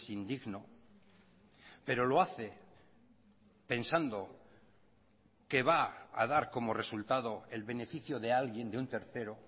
indigno pero lo hace pensando que va a dar como resultado el beneficio de alguien de un tercero